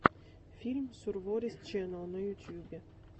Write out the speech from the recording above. фильм сурворис чэннел на ютьюбе